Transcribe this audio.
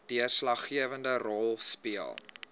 deurslaggewende rol speel